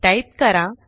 type करा